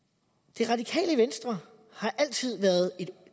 det radikale venstre har altid